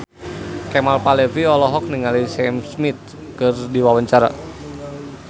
Kemal Palevi olohok ningali Sam Smith keur diwawancara